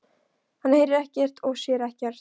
Hann heyrir ekkert og sér ekkert.